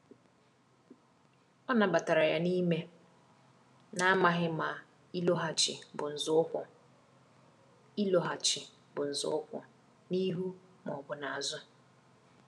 O nabatara ya n’ime, na-amaghị ma ịlọghachi bụ nzọụkwụ ịlọghachi bụ nzọụkwụ n’ihu ma ọ bụ n’azụ.